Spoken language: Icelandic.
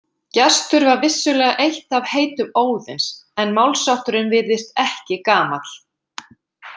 Gestur var vissulega eitt af heitum Óðins en málshátturinn virðist ekki gamall.